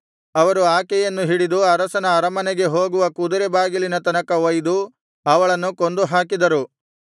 ಅವರು ಆಕೆಯನ್ನು ಹಿಡಿದು ಅರಸನ ಅರಮನೆಗೆ ಹೋಗುವ ಕುದುರೆ ಬಾಗಿಲಿನ ತನಕ ಒಯ್ದು ಅವಳನ್ನು ಕೊಂದು ಹಾಕಿದರು